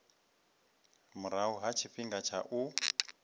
murahu ha tshifhinga tsha u